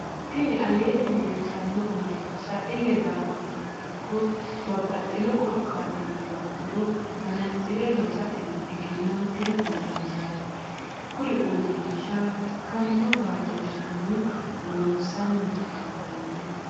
tini aleenni leelitanno uurinsha ille daafurturo ikko babbaxxinno korkatini ba'uro manatsire loosatenni eggenantino uurinshaati. kuri uurrinsha bikkamino baatoshinni loosanni afantanno.